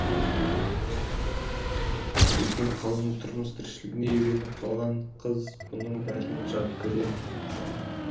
өйткені қаланың тұрмыс тіршілігіне үйреніп қалған қыз бұның бәрін жат көрді